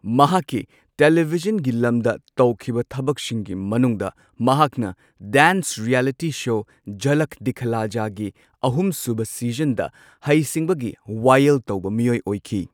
ꯃꯍꯥꯛꯀꯤ ꯇꯦꯂꯤꯚꯤꯖꯟꯒꯤ ꯂꯝꯗ ꯇꯧꯈꯤꯕ ꯊꯕꯛꯁꯤꯡꯒꯤ ꯃꯅꯨꯡꯗ ꯃꯍꯥꯛꯅ dance reality show Jhalak Dikhla ꯖꯥꯒꯤ ꯑꯍꯨꯝꯁꯨꯕ ꯁꯤꯖꯟꯗ ꯍꯩꯁꯤꯡꯕꯒꯤ ꯋꯥꯌꯦꯜ ꯇꯧꯕ ꯃꯤꯑꯣꯢ ꯑꯣꯏꯈꯤ꯫